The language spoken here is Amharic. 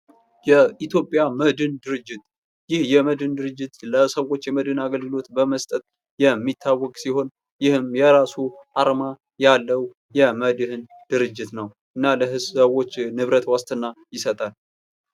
የኢትዮጵያ መድኅን ድርጅት ይህ የመድን ድርጅት ለሰዎች የመድን አገልግሎት በመስጠት የሚታወቅ ሲሆን ይህም የራሱ አርማ ያለው የመድኅን ድርጅት ነው ። እና ለብዙ ሰዎች ንብረት ዋስትና ይሰጣል ።